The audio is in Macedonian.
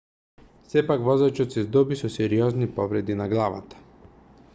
сепак возачот се здоби со сериозни повреди на главата